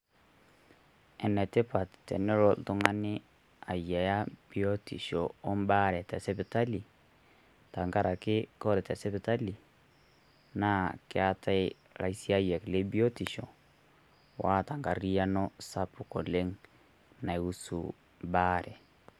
Enetipaat tenoo ltung'ani aiyaa biotisho o baare te sipitali, tang'araki kore te sipitali naa keatai laishaayak le biotisho oata nkariano sapuk oleng naihusu baare.